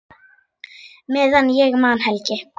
Meðan ég man, Helgi.